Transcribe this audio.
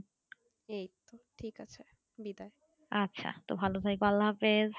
আচ্ছা তো ভালো থেকো হ্যাঁ আল্লাহ হাফিজ